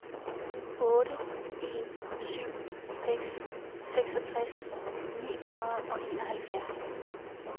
otte en syv seks seksogtres ni hundrede og enoghalvfjerds